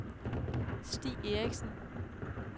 Stig Eriksen